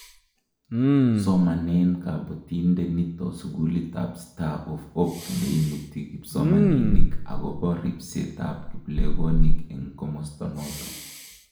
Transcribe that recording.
somanen kabotinde nito sukulitab star of Hope ne imuti kipsomaninik akbo ribsetab kiplekonik eng' komosto noto